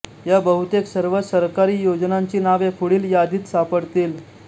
या बहुतेक सर्व सरकारी योजनांची नावे पुढील यादीत सापडतील